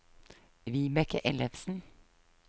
Vibeke Ellefsen